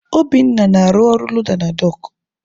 Obinna na-arụ ọrụ loda na dọọkụ.